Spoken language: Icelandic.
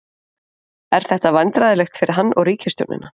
Er þetta vandræðalegt fyrir hann og ríkisstjórnina?